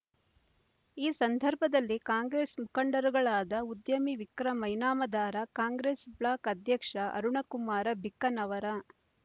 ಈ ಸಂದರ್ಭದಲ್ಲಿ ಕಾಂಗ್ರೇಸ್ ಮುಖಂಡರುಗಳಾದ ಉದ್ಯಮಿ ವಿಕ್ರಮ ಇನಾಮದಾರ ಕಾಂಗ್ರೇಸ್ ಬ್ಲಾಕ್ ಅಧ್ಯಕ್ಷ ಅರುಣಕುಮಾರ ಬಿಕ್ಕನವರ